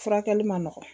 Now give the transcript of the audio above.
Furakɛli man nɔgɔn